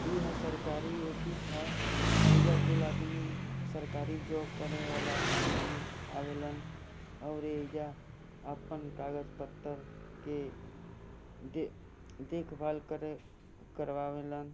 इ हा सरकारी ऑफिस है इ जा को आदमी सरकारी जॉब करने वाला आदमी अवेलन और ये जा अपन कागज पत्रर के देख भाल करे करवावेला--